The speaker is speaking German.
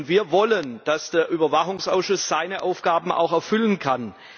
Wir wollen, dass der Überwachungsausschuss seine Aufgaben auch erfüllen kann.